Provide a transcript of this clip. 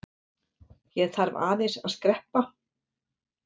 Ég þarf aðeins að skreppa.